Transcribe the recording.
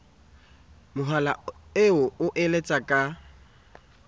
mohala eo o letsang ka